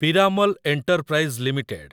Piramal enterprise limited